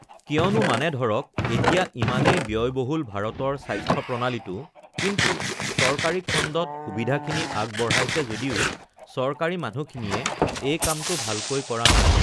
কিয়নো মানে ধৰক এতিয়া ইমানেই ব্যয়বহুল ভাৰতৰ স্বাস্থ্যপ্ৰণালীটো কিন্তু চৰকাৰী খণ্ডত সুবিধাখিনি আগবঢ়াইছে যদিও চৰকাৰী মানুহখিনিয়ে এই কামটো ভালকৈ কৰা নাই